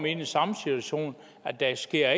i den samme situation at der ikke sker